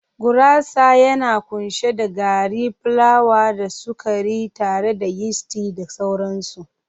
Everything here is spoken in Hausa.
Gurasa yana kunshe da gari plawa da sukari tare da yisti da sauransu.